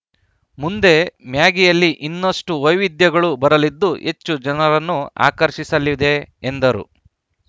ಮುಂದೆ ಮ್ಯಾಗಿಯಲ್ಲಿ ಇನ್ನಷ್ಟುವೈವಿಧ್ಯಗಳು ಬರಲಿದ್ದು ಹೆಚ್ಚು ಜನರನ್ನು ಆಕರ್ಷಿಸಲಿದೆ ಎಂದರು